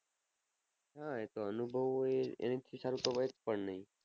હા એ તો અનુભવ હોય એનાથી સારું તો હોય જ પણ નહીં.